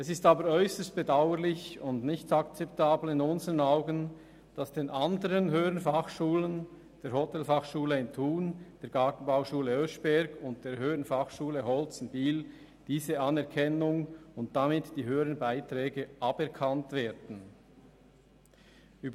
Es ist aber äusserst bedauerlich und in unseren Augen nicht akzeptabel, dass den anderen HF, nämlich der Hotelfachschule Thun, der Gartenbauschule Oeschberg und der HF Holz in Biel, diese Anerkennung und damit die höheren Beiträge weggenommen werden sollen.